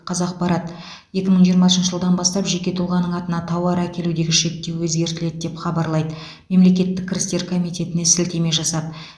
қазақпарат екі мың жиырмасыншы жылдан бастап жеке тұлғаның атына тауар әкелудегі шектеу өзгертіледі деп хабарлайды мемлекеттік кірістер комитетіне сілтеме жасап